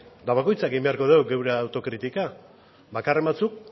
eta bakoitzak egin beharko dugu gure autokritika bakarren batzuk